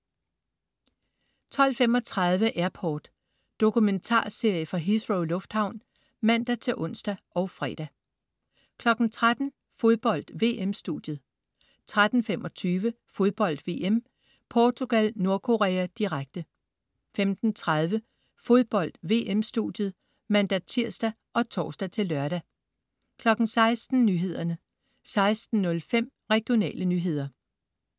12.35 Airport. Dokumentarserie fra Heathrow lufthavn (man-ons og fre) 13.00 Fodbold: VM-studiet 13.25 Fodbold VM: Portugal-Nordkorea, direkte 15.30 Fodbold: VM-studiet (man-tirs og tors-lør) 16.00 Nyhederne 16.05 Regionale nyheder